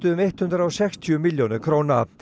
um hundrað og sextíu milljónir króna